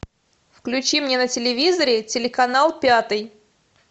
включи мне на телевизоре телеканал пятый